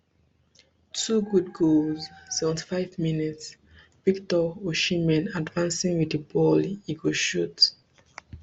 two good goals seventy-five mins victor osimhen advancing wit di ball e go shoot